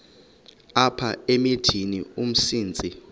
apha emithini umsintsi